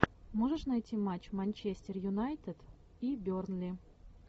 можешь найти матч манчестер юнайтед и бернли